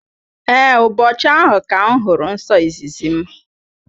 Ee, ụbọchị ahụ ka m hụrụ nsọ izizi m.